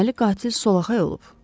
Deməli, qatil solaxay olub.